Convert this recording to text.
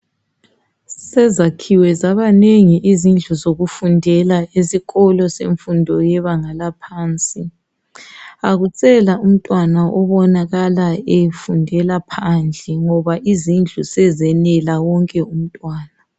Sezakhiwe zabanengi izindlu zokufundela esikolo semfundo yebanga laphansi. Akusela umntwana obonakala efundela phandle ngoba izindlu sezenela wonke umntwana.